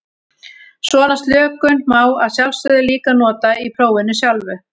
Svona slökun má að sjálfsögðu líka nota í prófinu sjálfu.